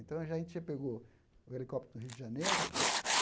Então, já a gente já pegou o helicóptero no Rio de Janeiro.